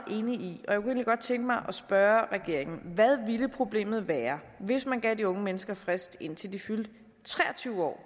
egentlig godt tænke mig at spørge regeringen hvad ville problemet være hvis man gav de unge mennesker frist indtil de fyldte tre og tyve år